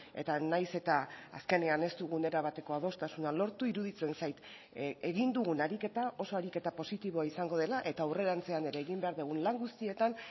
eta nahiz eta azkenean ez dugun erabateko adostasuna lortu iruditzen zait egin dugun ariketa oso ariketa positiboa izango dela eta aurrerantzean ere egin behar dugun lan guztietan